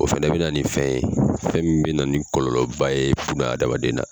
O fɛnɛ bɛ na nin fɛn ye fɛn min bɛ na nin kɔlɔlɔ ba ye buna hadamaden na.